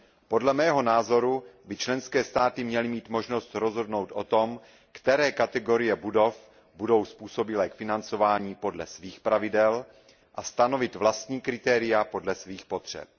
Podle mého názoru by členské státy měly mít možnost rozhodnout o tom, které kategorie budov budou způsobilé k financování, podle svých pravidel a stanovit vlastní kritéria podle svých potřeb.